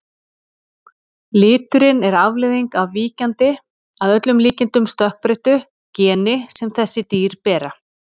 Liturinn er afleiðing af víkjandi, að öllum líkindum stökkbreyttu, geni sem þessi dýr bera.